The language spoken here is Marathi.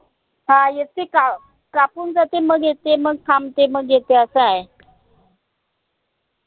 हं येते का कापून जाते मग येते मग थांबते मग येते असं आय